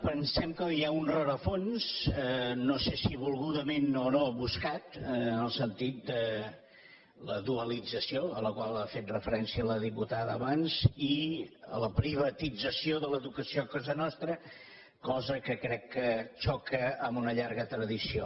pensem que hi ha un rerefons no sé si volgudament o no buscat en el sentit de la dualització a la qual ha fet referència la diputada abans i la privatització de l’educació a casa nostra cosa que crec que xoca amb una llarga tradició